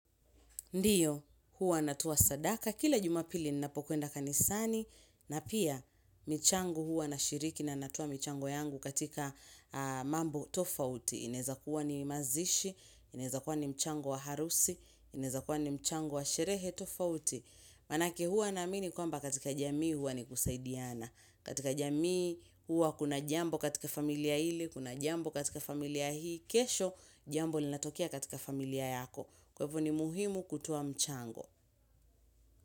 Ndiyo, huwa natoa sadaka, kila jumapili ninapokwenda kanisani, na pia michango huwa nashiriki na natoa michangu yangu katika mambo tofauti. Ineza kuwa ni mazishi, inezakuwa ni mchangu wa harusi, inezakuwa ni mchango wa sherehe tofauti. Manake huwa naamini kwamba katika jamii huwa ni kusaidiana. Katika jamii huwa kuna jambo katika familia ile, kuna jambo katika familia hii, kesho jambo linatokea katika familia yako. Kwaivo ni muhimu kutoa mchango.